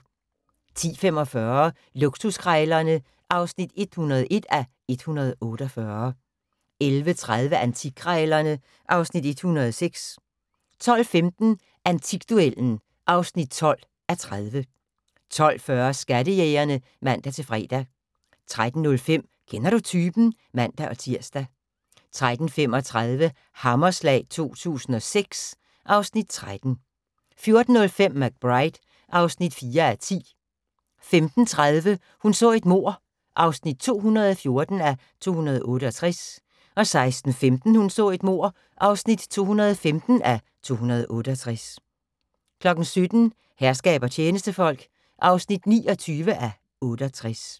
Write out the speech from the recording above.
10:45: Luksuskrejlerne (101:148) 11:30: Antikkrejlerne (Afs. 106) 12:15: Antikduellen (12:30) 12:40: Skattejægerne (man-fre) 13:05: Kender du typen? (man-tir) 13:35: Hammerslag 2006 (Afs. 13) 14:05: McBride (4:10) 15:30: Hun så et mord (214:268) 16:15: Hun så et mord (215:268) 17:00: Herskab og tjenestefolk (29:68)